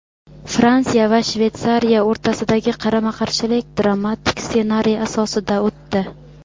Fransiya va Shveysariya o‘rtasidagi qarama-qarshilik dramatik ssenariy asosida o‘tdi.